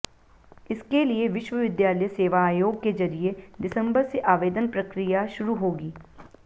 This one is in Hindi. इसके लिए विश्वविद्यालय सेवा आयोग के जरिए दिसंबर से आवेदन प्रक्रिया शुरू होगी